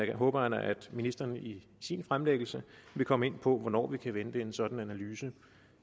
jeg håber at ministeren i sin fremlæggelse vil komme ind på hvornår vi kan vente en sådan analyse